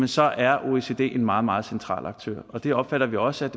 så er oecd en meget meget central aktør og det opfatter vi også